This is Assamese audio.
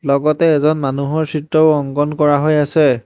লগতে এজন মানুহৰ চিত্ৰও অংকন কৰা হৈ আছে।